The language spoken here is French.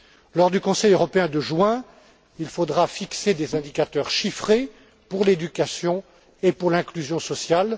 Lors du Conseil européen de juin, il faudra fixer des indicateurs chiffrés pour l'éducation et l'inclusion sociale.